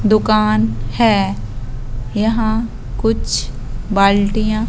दुकान है यहां कुछ बाल्टियां--